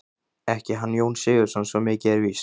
Ekki hann Jón Sigurðsson, svo mikið er víst.